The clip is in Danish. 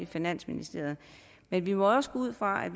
finansministeriet men vi må også gå ud fra at